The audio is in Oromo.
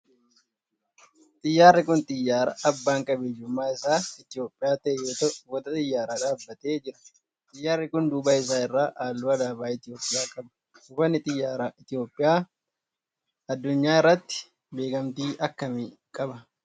xiyyaarri kun xiyyaara abbaan qabeenyummaa isaa Itiyoophiyaa ta'ee yoo ta'u buufata xiyyaaraa dhaabbatee jira. Xiyyaarri kun duuba isaa irraa halluu alaabaa Itiyoophiyaa qaba. bufannii xiyyaaraa Itiyoophiyaa addunyaa irratti beekamtii akkamii qaba?